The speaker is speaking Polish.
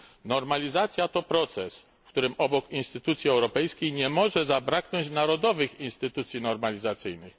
Normalizacja to proces, w którym obok instytucji europejskiej nie może zabraknąć narodowych instytucji normalizacyjnych.